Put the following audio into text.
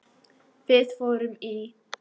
Við fórum í